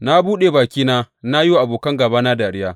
Na buɗe bakina na yi wa abokan gābana dariya.